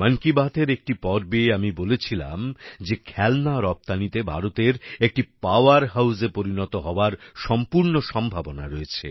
মন কি বাতএর একটি পর্বে আমি বলেছিলাম যে খেলনা রপ্তানিতে ভারতের একটি পাওয়ার হাউসে পরিণত হওয়ার সম্পূর্ণ সম্ভাবনা রয়েছে